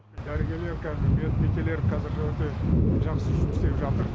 дәрігерлер қазір медбикелер қазір өте жақсы жұмыс істеп жатыр